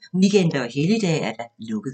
9.00-14.00, weekender og helligdage: lukket.